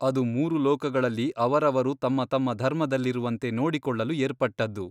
ಅದು ಮೂರು ಲೋಕಗಳಲ್ಲಿ ಅವರವರು ತಮ್ಮ ತಮ್ಮ ಧರ್ಮದಲ್ಲಿರುವಂತೆ ನೋಡಿಕೊಳ್ಳಲು ಏರ್ಪಟ್ಟದ್ದು.